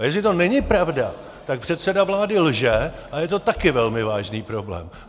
A jestli to není pravda, tak předseda vlády lže a je to také velmi vážný problém.